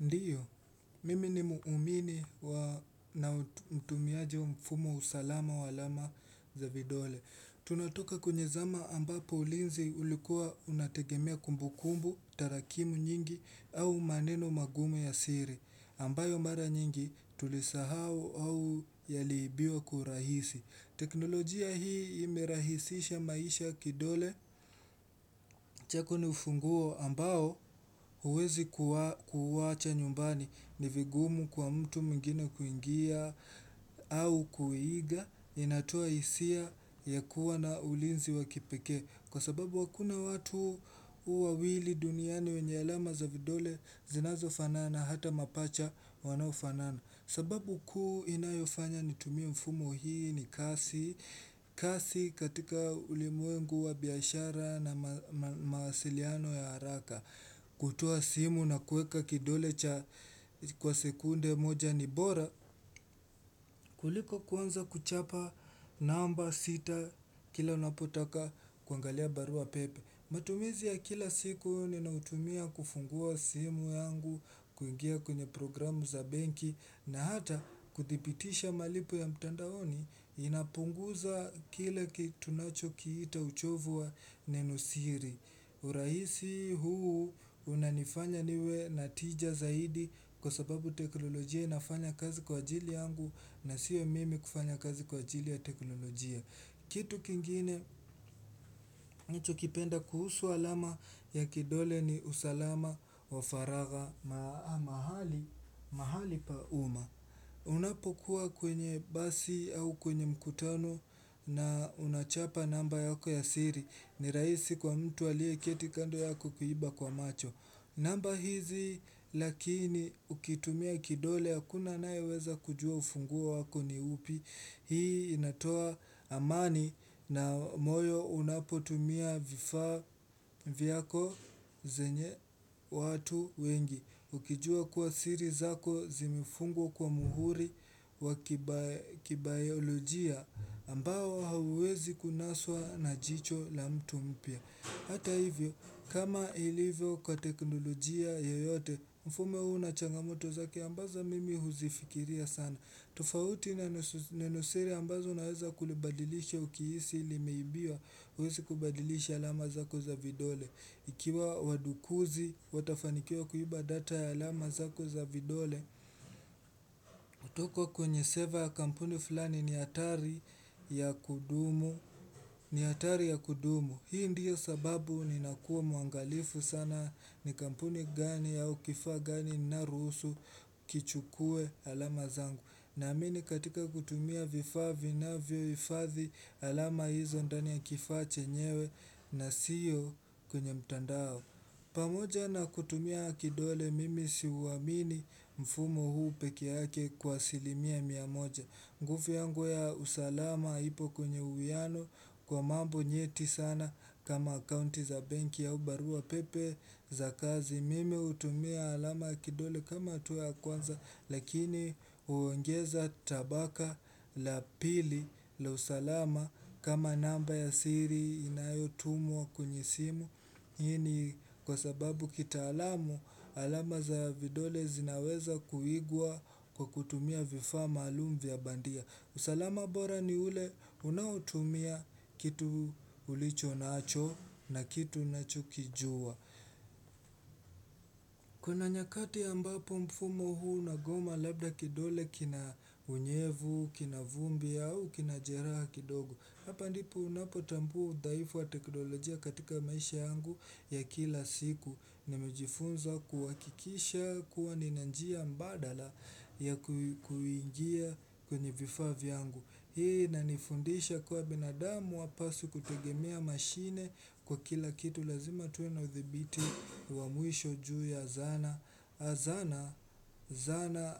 Ndiyo, mimi ni muumini na mtumiaje wa mfumo usalama wa alama za vidole. Tunatoka kwenye zama ambapo ulinzi ulikuwa unategemea kumbukumbu, tarakimu nyingi au maneno magumu ya siri. Ambayo mara nyingi tulisahau au yalibiwa kurahisi. Teknolojia hii imirahisisha maisha kidole. Chako ni ufunguo ambao huwezi kuwacha nyumbani ni vigumu kwa mtu mwingine kuingia au kuiga inatua isia ya kuwa na ulinzi wakipeke Kwa sababu wakuna watu uawili duniani wenye alama za vidole zinazofanana hata mapacha wanofanana sababu kuu inayofanya nitumimfumo hii ni kasi, kasi katika ulimuengu wa biashara na maasiliano ya haraka, kutua simu na kueka kidole cha kwa sekunde moja ni bora, kuliko kwanza kuchapa namba sita kila unapotaka kuangalia barua pepe. Matumizi ya kila siku ninaotumia kufungua simu yangu kuingia kwenye programu za benki na hata kuthibitisha malipo ya mtandaoni inapunguza kila kitu nacho kiita uchovua ninusiri. Uraisi huu unanifanya niwe na tija zaidi kwa sababu teknolojia inafanya kazi kwa ajili yangu na siwe mimi kufanya kazi kwa ajili ya teknolojia. Kitu kingine chokipenda kuhusu alama ya kidole ni usalama wa faraga mahali paumma. Unapokuwa kwenye basi au kwenye mkutano na unachapa namba yako ya siri ni rahisi kwa mtu alie ketikando yako kuiba kwa macho. Namba hizi lakini ukitumia kidole akuna naeweza kujua ufungua wako ni upi. Hii inatoa amani na moyo unapotumia vifaa vyako zenye watu wengi. Ukijua kuwa siri zako zimifungwa kwa muhuri wa kibayolojia ambao hawezi kunaswa na jicho la mtu mpya. Hata hivyo, kama ilivyo kwa teknolojia yoyote, mfume huu na changamoto zaki ambazo mimi huzifikiria sana. Tufauti na nusiri ambazo unaweza kulibadilisha ukiisi ili meibiwa huwezi kubadilisha alama zako za vidole. Ikiwa wadukuzi, watafanikia kuiba data ya alama zako za vidole. Utoko kwenye seva kampuni fulani ni hatari ya kudumu, ni hatari ya kudumu. Hii ndiyo sababu ni nakuwa mwangalifu sana ni kampuni gani au kifa gani na rusu kichukue alama zangu. Naamini katika kutumia vifaa na vioifathi alama hizo ndani ya kifaa chenyewe na siyo kwenye mtandao pamoja na kutumia akidole mimi siuamini mfumo huu peke yake kwa silimia mia moja nguvu yangu ya usalama ipo kunye uwiano kwa mambo nyeti sana kama akounti za bank ya ubarua pepe za kazi mimi hutumia alama ya kidole kama atu ya kwanza, lakini uongeza tabaka la pili la usalama kama namba ya siri inayotumwa wa kunyisimu. Hini kwa sababu kitaalamu, alama za ya vidole zinaweza kuigwa kwa kutumia vifaa maalumu vya bandia. Usalama bora ni ule unautumia kitu ulicho nacho na kitu nacho kijua. Kuna nyakati ambapo mfumo huu nagoma labda kidole kinaunyevu, kina vumbi au kina jeraa kidogo Hapa ndipu unapo tambua dhaifu wa teknolojia katika maisha yangu ya kila siku Nimijifunza kuhakikisha kuwa nina njia badala ya kuingia kwenye vifaa vyangu Hii na nifundisha kwa binadamu wapaswi kutugemea mashine kwa kila kitu lazima tuwe na uthibiti wa mwisho juu ya zana Zana